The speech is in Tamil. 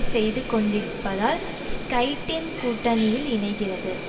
செய்து கொண்டிருப்பதால் ஸ்கைடீன் கூட்டணியில் இணைகிறது